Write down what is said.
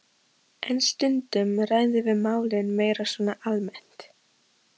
En stundum ræðum við málin meira svona almennt.